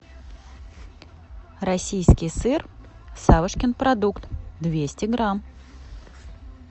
российский сыр савушкин продукт двести грамм